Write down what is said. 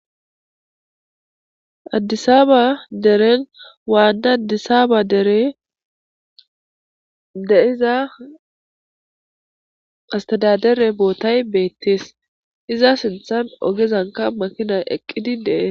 Adisaba deren wana adisaba deren de'iza astedadere botay betes iza sinthen ogezanka makinay eqidi de'es